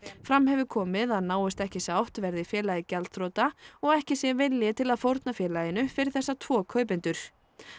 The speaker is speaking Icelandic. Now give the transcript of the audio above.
fram hefur komið að náist ekki sátt verði félagið gjaldþrota og ekki sé vilji til að fórna félaginu fyrir þessa tvo kaupendur